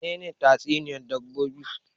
Menene tatsuniyan dabbobi?